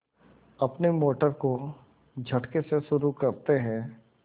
अपनी मोटर को झटके से शुरू करते हैं